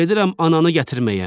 Gedirəm ananı gətirməyə.